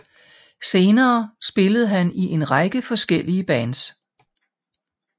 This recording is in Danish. Senere spillede han i en række forskellige Bands